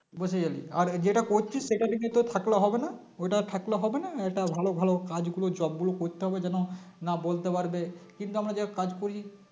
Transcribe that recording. বসে যাবি আর যেটা করছিস সেটা দেখবি তোর থাকলেও হবে না ওটা থাকলে হবে না এটা ভালো ভালো কাজ গুলো Job গুলো করতে হবে যেন না বলতে পারবে কিন্তু আমরা যে কাজ করি